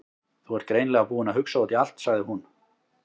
Þú ert greinilega búinn að hugsa út í allt- sagði hún.